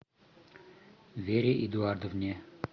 вере эдуардовне